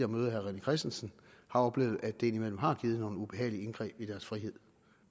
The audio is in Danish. møde herre rené christensen har oplevet at det indimellem har givet nogle ubehagelige indgreb i deres frihed